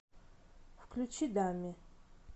включи дамми